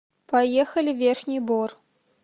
поехали верхний бор